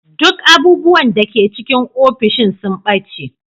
Duk abubuwan da ke cikin ofishin sun ɓace.